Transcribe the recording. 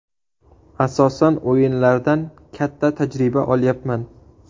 Asosan o‘yinlardan katta tajriba olyapman.